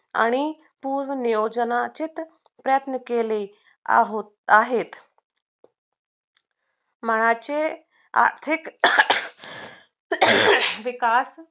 आणि पुर्ननियोजनातीत प्रयत्न केले आहेत मनाची आर्थिक विकास